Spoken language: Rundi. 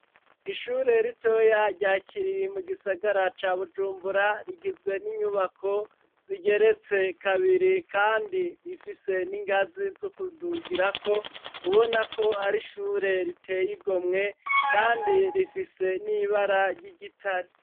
Ishure ritoya rya Kiriri mu gisagara ca Bujumbura rigizwe n'inyubako zigeretse kabiri kandi rifise n'ingazi zo kudugirako ubona ko ar' ishure ritey' igomwe kandi rifise n'ibara ry'igitare.